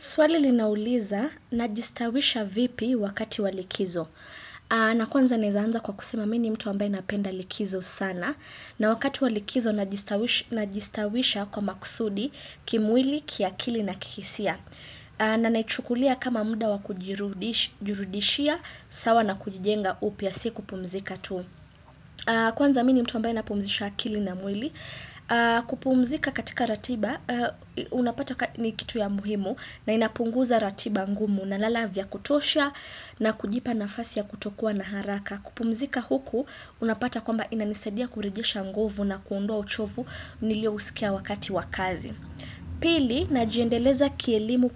Swali linauliza na jistawisha vipi wakati walikizo. Na kwanza naeza anza kwa kusema mi ni mtu ambaye napenda likizo sana. Na wakati wa likizo najistawisha kwa maksudi kimwili, kiakili na kihisia. Na naichukulia kama mda wakujirudishia sawa na kujijenga upya si kupumzika tu. Kwanza mi ni mtu ambaye napumzisha akili na mwili. Kupumzika katika ratiba unapata ni kitu ya muhimu na inapunguza ratiba ngumu na lala vya kutosha na kujipa nafasi ya kutokuwa na haraka kupumzika huku unapata kwamba inanisadia kurejesha nguvu na kuondoa uchovu niliouskia wakati wa kazi pili na jiendeleza kielimu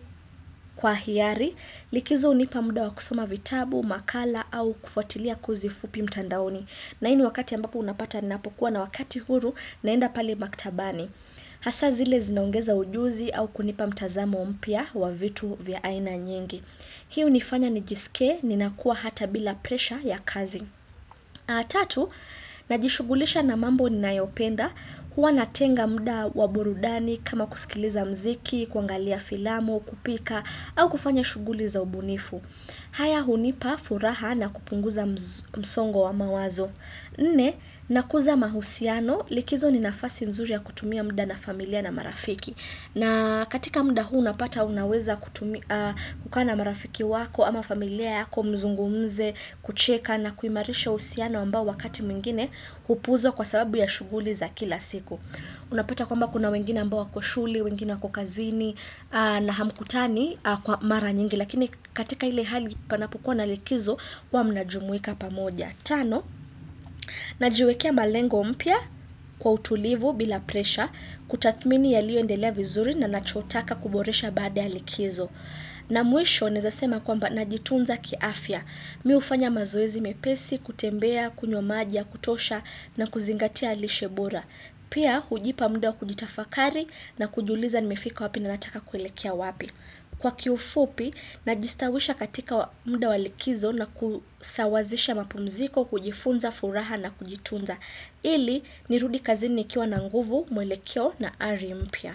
kwa hiari likizo hunipa muda wa kusoma vitabu makala au kufuatilia kuzi fupi mtandaoni na hii ni wakati ambapo unapata ninapokuwa na wakati huru, naenda pale maktabani. Hasa zile zinaongeza ujuzi au kunipa mtazamo mpya wa vitu vya aina nyingi. Hii unifanya nijiskie, ninakuwa hata bila presha ya kazi. Atatu, najishughulisha na mambo ninayopenda. Huwa natenga mda waburudani kama kuskiliza mziki, kuangalia filamu, kupika, au kufanya shughuli za ubunifu. Haya hunipa furaha na kupunguza msongo wa mawazo. Nne, nakuza mahusiano, likizo ni nafasi nzuri ya kutumia mda na familia na marafiki. Na katika mda huu unapata unaweza kutumi kukaa na marafiki wako ama familia yako mzungumze kucheka na kuimarisha uhusiano ambao wakati mwingine upuuzwa kwa sababu ya shughuli za kila siku. Unapata kwamba kuna wengine ambao wako shule, wengine wako kazini na hamkutani kwa mara nyingi. Lakini katika ile hali panapokuwa na likizo, huwa mnajumuika pamoja. Tano, najiwekea malengo mpya kwa utulivu bila presha, kutathmini yaliyo endelea vizuri na nachotaka kuboresha baada ya likizo. Na mwisho, naezasema kwamba na jitunza kiafya. Mi hufanya mazoezi mepesi, kutembea, kunywa maji ya, kutosha na kuzingatia lishebora. Pia, hujipa mda wa kujitafakari na kujiuliza ni mefika wapi na nataka kuelekea wapi. Kwa kiufupi, najistawisha katika wa mda wa likizo na kusawazisha mapumziko kujifunza furaha na kujitunza. Ili, nirudi kazini nikiwa na nguvu, mwelekeo na ari mpya.